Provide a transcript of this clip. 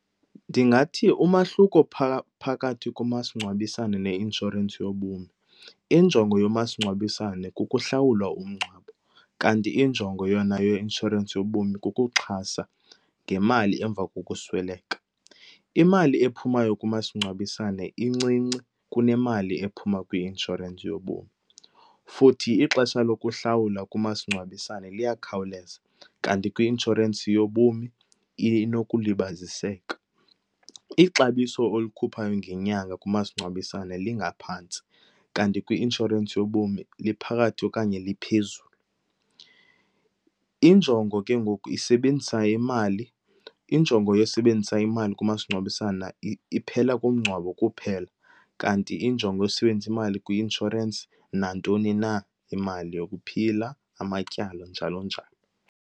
Ndingathi umahluko phakathi komasingcwabisane neinshorensi yobomi, injongo yomasingcwabisane kukuhlawula umngcwabo kanti injongo yona yeinshorensi yobomi kukuxhasa ngemali emva kokusweleka. Imali ephumayo kumasingcwabisane incinci kunemali ephuma kwi-inshorensi yobomi, futhi ixesha lokuhlawula kumasingcwabisane liyakhawuleza kanti kwi-inshorensi yobomi inokulibaziseka. Ixabiso olikhuphayo ngenyanga kumasingcwabisane lingaphantsi kanti kwi-inshorensi yobomi liphakathi okanye liphezulu. Injongo ke ngoku isebenzisa imali, injongo yosebenzisa imali kumasingcwabisane iphela kumngcwabo kuphela, kanti injongo yosebenzisa imali kwi-inshorensi nantoni na, imali yokuphila, amatyala, njalo njalo.